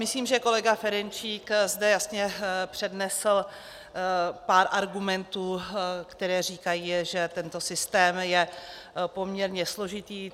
Myslím, že kolega Ferjenčík zde jasně přednesl pár argumentů, které říkají, že tento systém je poměrně složitý.